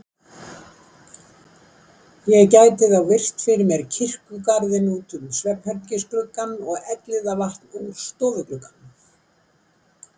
Ég gæti þá virt fyrir mér kirkjugarðinn út um svefnherbergisgluggann og Elliðavatn úr stofuglugganum.